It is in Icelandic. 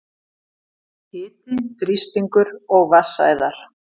Hiti, þrýstingur og vatnsæðar